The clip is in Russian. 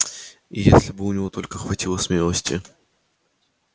и если бы у него только хватило смелости